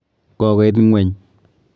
Kokoit ng'weny.